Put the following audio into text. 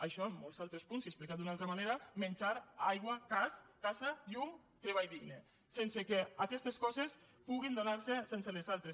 això i molts altres punts i explicat d’una altra manera menjar aigua gas casa llum treball digne sense que aquestes coses puguin donar se sense les altres